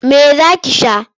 Me za ki sha?